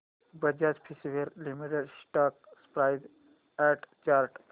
Bajaj Finserv limited stock price and chart